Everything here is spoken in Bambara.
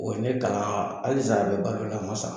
O ne ka hali sisa an bɛ balo la a ma sa!